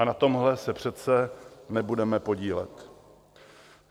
A na tomhle se přece nebudeme podílet.